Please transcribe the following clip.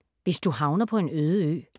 Hvis du havner på en øde ø